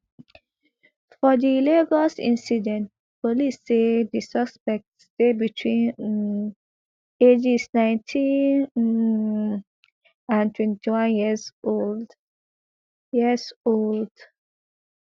for di lagos incident police say di suspects dey between um ages nineteen um and twenty-one years old years old